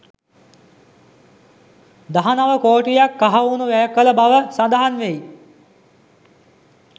දහනව කෝටියක් කහවණු වැය කළ බව සඳහන් වෙයි.